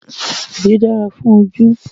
Edé dára fún ojú